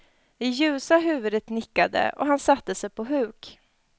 Det ljusa huvudet nickade, och han satte sig på huk.